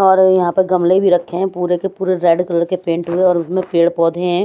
और यहां ले गमले भी रखे हैं पूरे के पूरे रेड कलर के पेंट हुए और उसमें पेड़ पौधे हैं।